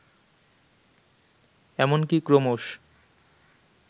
এমনকি ক্রমশ